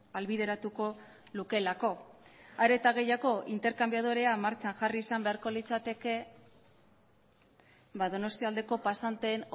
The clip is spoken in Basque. ahalbideratuko lukeelako are eta gehiago interkanbiadorea martxan jarri izan beharko litzateke donostialdeko pasanteen